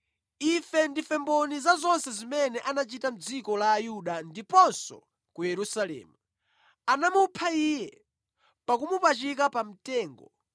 “Ife ndife mboni za zonse zimene anachita mʼdziko la Ayuda ndiponso ku Yerusalemu. Anamupha Iye pakumupachika pa mtengo,